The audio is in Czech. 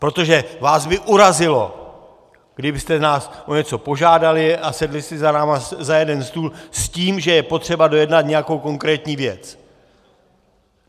Protože vás by urazilo, kdybyste nás o něco požádali a sedli si s námi za jeden stůl s tím, že je potřeba dojednat nějakou konkrétní věc.